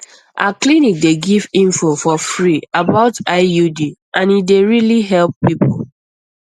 our clinic dey give info for free about iud and e dey really help people